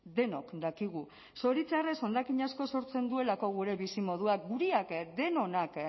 denok dakigu zoritxarrez hondakin asko sortzen duelako gure bizimoduak guriak denonak